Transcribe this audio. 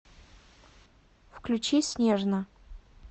включи снежно